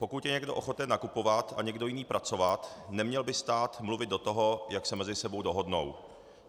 Pokud je někdo ochoten nakupovat a někdo jiný pracovat, neměl by stát mluvit do toho, jak se mezi sebou dohodnou.